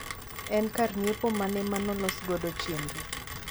en kar nyiepo mane malosogodo chenro